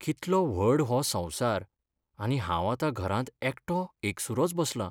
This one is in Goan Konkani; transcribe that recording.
कितलो व्हड हो संवसार आनी हांव आतां घरांत एकटो एकसुरोच बसलां.